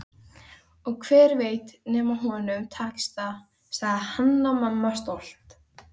Og hver veit nema honum takist það, sagði Hanna-Mamma stolt.